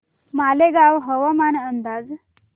मालेगाव हवामान अंदाज